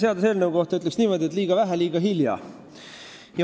Selle seaduseelnõu kohta ütleksin niimoodi, et liiga vähe ja liiga hilja.